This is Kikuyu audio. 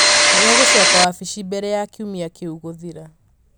nĩ egũcoka wabici mbere ya kiumia kĩu gũthira